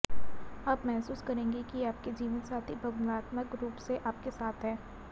आप महसूस करेंगे कि आपके जीवनसाथी भावनात्मक रूप से आपके साथ हैं